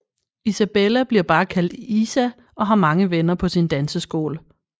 Isabella bliver bare kaldt Isa og har mange venner på sin danseskole